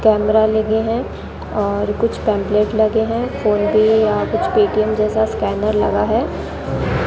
Camera लगे है और कुछ पंपलेट लगे है फोन पे या कुछ पेटीएम जैसा स्कैनर लगा है।